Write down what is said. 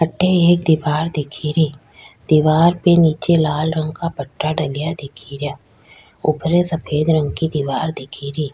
अठे एक दिवार दिखेरी दिवार पे निचे लाल रंग का पट्टा डलया दिखेरा उपरे सफ़ेद रंग की दिवार दिखेरी।